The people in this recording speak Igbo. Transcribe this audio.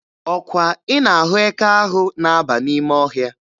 Ọkwa ị na-ahụ eke ahụ na-aba n'ime ọhịa?